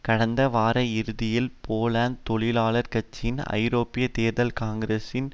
கடந்த வாரயிறுதியில் போலாந்து தொழிலாளர் கட்சியின் ஐரோப்பிய தேர்தல் காங்கிரஸில்